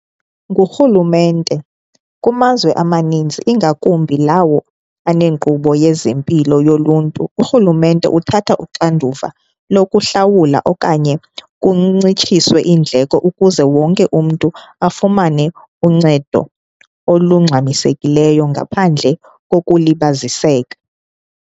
Ngurhulumente, kumazwe amaninzi ingakumbi lawo aneenkqubo yezempilo yoluntu, urhulumente uthatha uxanduva lokuhlawula okanye kuncitshiswe iindleko ukuze wonke umntu afumane uncedo olungxamisekileyo ngaphandle kokulibaziseka.